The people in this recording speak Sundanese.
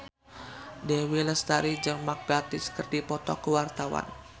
Dewi Lestari jeung Mark Gatiss keur dipoto ku wartawan